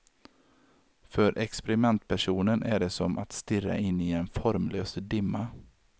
För experimentpersonen är det som att stirra in i en formlös dimma.